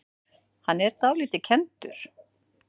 Hann er dálítið kenndur.